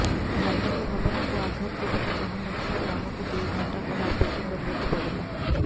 ଧାର୍ମିକ ଭାବନାକୁ ଆଘାତ ଦେବାକୁ ଚାହୁଁ ନ ଥିବାରୁ ଆମକୁ ଦୁଇଘଣ୍ଟା କାଳ ଅପେକ୍ଷା କରିବାକୁ ପଡ଼ିଲା